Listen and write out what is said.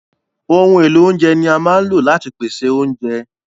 Ohun èlò oúnjẹ ni a máa ń lò láti pèsè oúnjẹ.